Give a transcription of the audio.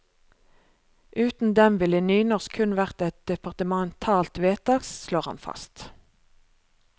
Uten dem ville nynorsk kun vært et departementalt vedtak, slår han fast.